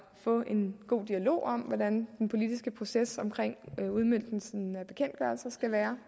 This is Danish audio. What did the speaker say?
få en god dialog om hvordan den politiske proces omkring udmøntningen af bekendtgørelser skal være